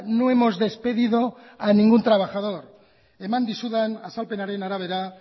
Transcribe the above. no hemos despedido a ningún trabajador eman dizudan azalpenaren arabera